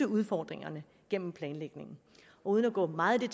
udfordringerne gennem planlægningen uden at gå meget i